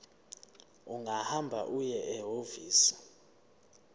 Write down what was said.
ungahamba uye ehhovisi